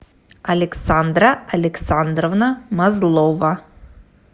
александра александровна мазлова